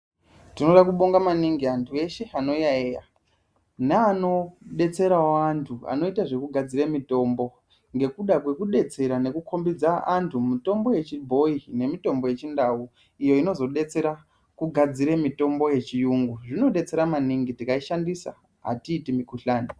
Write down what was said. Tinoda kubonga maningi antu eshe anoyaiya neanobetseravo antu anoita zvekugadzire mitombo. Ngekuda kwekubetsera nekukombidza antu mitombo yechibhoi nemitombo yechindau iyo inozobetsera kugadzire mitombo yechiyungu. Zvinobetsera maningi tikaishandisa hatiiti mikuhlani.